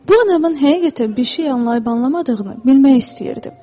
Bu, anamın həqiqətən bir şeyi anlayıb anlamadığını bilmək istəyirdi.